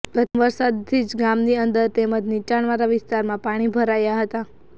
પ્રથમ વરસાદ થી જ ગામની અંદર તેમજ નિચાણ વાળા વિસ્તારમાં પાણી ભરાયા હતા